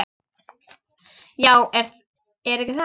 Já, er ekki það?